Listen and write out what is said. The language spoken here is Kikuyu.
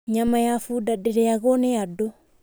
Nyama ya bunda ndĩrĩagwo nĩ andũ.